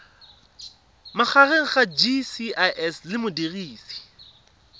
magareng ga gcis le modirisi